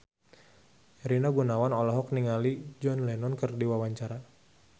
Rina Gunawan olohok ningali John Lennon keur diwawancara